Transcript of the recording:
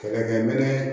Kɛlɛkɛminɛn